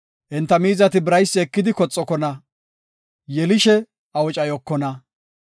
Enta miizati biraysi ekidi koxokona; yelishe awucayokona.